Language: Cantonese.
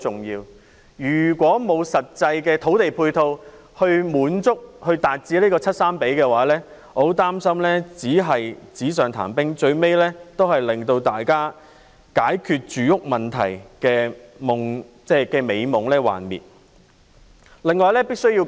如果沒有實際土地配套來達致 7：3 的比例，我很擔心只是紙上談兵，最終令成功解決住屋問題的美夢幻滅。